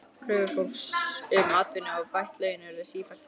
Kröfur fólks um atvinnu og bætt laun urðu sífellt háværari.